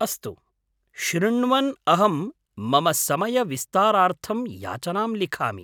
अस्तु, शृण्वन् अहं मम समयविस्तारार्थं याचनां लिखामि।